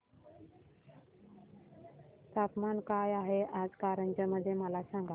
तापमान काय आहे आज कारंजा मध्ये मला सांगा